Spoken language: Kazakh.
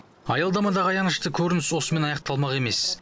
аялдамадағы аянышты көрініс осымен аяқталмақ емес